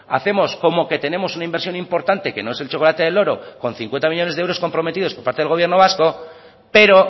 hacemos como que tenemos una inversión importante que no es el chocolate del loro con cincuenta millónes de euros comprometidos por parte del gobierno vasco pero